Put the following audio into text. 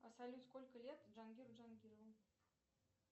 салют сколько лет джангиру джангирову